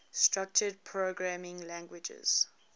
structured programming languages